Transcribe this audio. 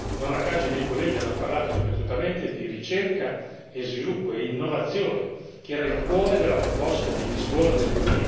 Non a caso, i miei colleghi hanno parlato ripetutamente di ricerca, sviluppo e innovazione, che erano il cuore della proposta di Lisbona del